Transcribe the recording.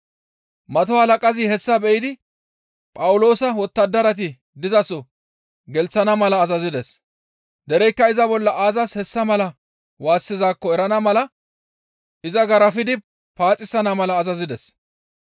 Mato halaqazi hessa be7idi Phawuloosa wottadarati dizaso gelththana mala azazides; dereykka iza bolla aazas hessa mala waassizaakko erana mala iza garafidi paaxisana mala azazides.